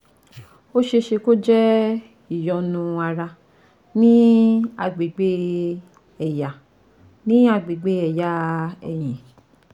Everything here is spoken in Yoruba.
ó ṣeé ṣe kó jẹ́ ìyọnu ara ní àgbègbè ẹ̀yà ní àgbègbè ẹ̀yà ẹ̀yìn